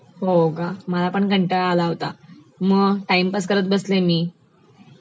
हो का, मला पण कंटाळा आला होता, म टाइमपास करत बसले मी